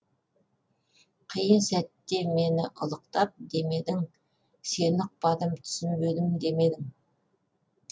қиын сәтте мені ұлықтап демедің сені ұқпадым түсінбедім демедің